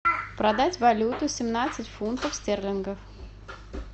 продать валюту семнадцать фунтов стерлингов